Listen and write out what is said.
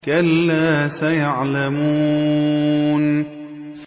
كَلَّا سَيَعْلَمُونَ